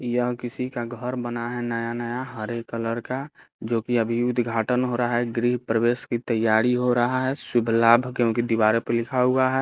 यह किसी का घर बना है नया नया हरे कलर का जो की अभी उद्घाटन हो रहा है ग्रीह प्रवेश की तयारी हो रहा है शुभ लाभ क्योंकि दीवारों पे लिखा हुआ है।